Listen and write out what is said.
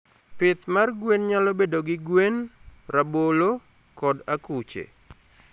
pitth mar gwen nyalo bedo gi gwen, rabolo, kod akuche.